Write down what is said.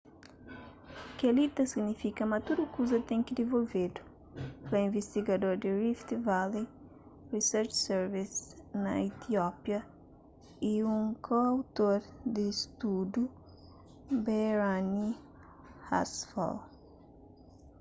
kel-li ta signifika ma tudu kuza ten ki divolvedu fla invistigador di rift valley research service na etiópia y un ko-outor di studu berhane asfaw